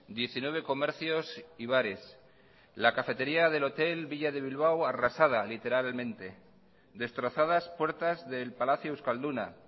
diecinueve comercios y bares la cafetería del hotel villa de bilbao arrasada literalmente destrozadas puertas del palacio euskalduna